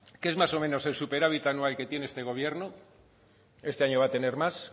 que es más o menos el superávit anual que tiene este gobierno este año va a tener más